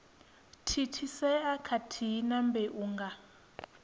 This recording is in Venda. thithisea khathihi na mbeu nga